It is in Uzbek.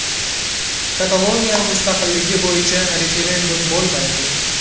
Kataloniya mustaqilligi bo‘yicha referendum bo‘lmaydi.